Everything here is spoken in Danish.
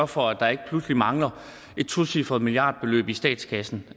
for at der ikke pludselig mangler et tocifret milliardbeløb i statskassen